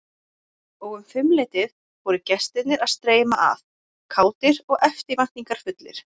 Og um fimmleytið fóru gestirnir að streyma að, kátir og eftirvæntingarfullir.